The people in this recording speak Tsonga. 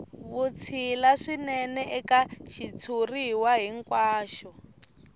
vutshila swinene eka xitshuriwa hinkwaxo